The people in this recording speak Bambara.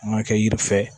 An ka kɛ yiri fɛ